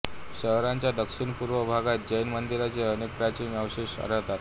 शहराच्या दक्षिणपूर्व भागात जैन मंदिरांचे अनेक प्राचीन अवशेष आढळतात